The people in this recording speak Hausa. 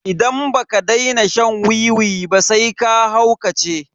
Idan baka daina shan wiwi ba sai ka haukace.